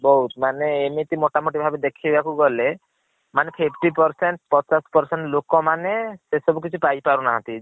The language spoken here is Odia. ବହୁତ୍ ମାନେ ଏମିତି ମୋତା ମୋତି ଭାବେ ଦେଖିବା କୁ ଗଲେ ମାନେ fifty percent ପଚାଶ୍ percent ଲୋକ ମନେ ସେସବୁ କିଛି ପାଇ ପାରୁ ନାହାନ୍ତି।